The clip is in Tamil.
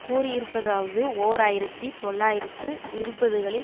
கூறியிருப்பதாவது ஓர் ஆயிரத்தி தொள்ளாயிரத்து இருபதுகளில்